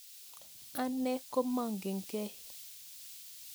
Ane komamakekei